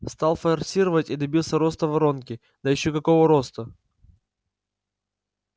стал форсировать и добился роста воронки да ещё какого роста